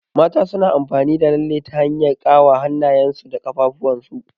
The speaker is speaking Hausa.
Mata suna amfani da lalle ta hanyar ƙawa hannyen su da ƙaffuwan su.